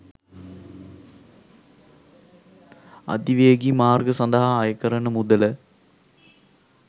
අධිවේගී මාර්ග සඳහා අය කරන මුදල